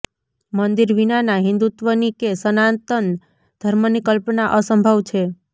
મંદિર વિનાના હિન્દુત્વની કે સનાતન ધર્મની કલ્પના અસંભવ છે